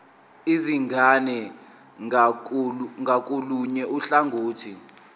izingane ngakolunye uhlangothi